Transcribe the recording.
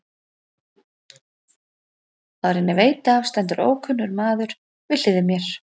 Áður en ég veit af stendur ókunnur maður við hlið mér.